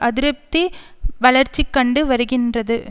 அதிருப்தி வளர்ச்சி கண்டு வருகின்றது